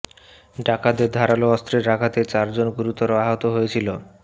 ডাকাতদের ধারালো অস্ত্রের আঘাতে চার জন গুরুতর আহত হয়েছিল